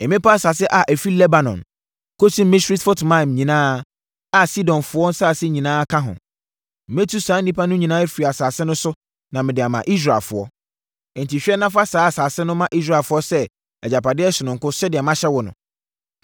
“Mmepɔ asase a ɛfiri Lebanon kɔsi Misrefot-Maim nyinaa a Sidonfoɔ nsase nyinaa ka ho. Mɛtu saa nnipa no nyinaa afiri asase no so na mede ama Israelfoɔ. Enti hwɛ na fa saa asase no ma Israelfoɔ sɛ agyapadeɛ sononko sɛdeɛ mahyɛ wo no.